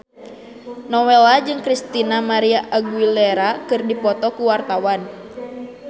Nowela jeung Christina María Aguilera keur dipoto ku wartawan